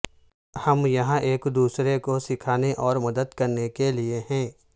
ہم یہاں ایک دوسرے کو سکھانے اور مدد کرنے کے لئے ہیں